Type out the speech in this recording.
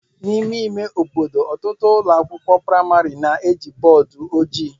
N'ime ime obodo, ọtụtụ ụlọ akwụkwọ praịmarị na-eji bọọdụ ojii.